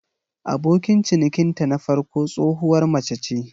Abokin cinikinta na farko tsohuwar mace ce.